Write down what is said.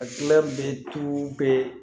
A be be